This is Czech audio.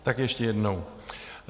Tak ještě jednou.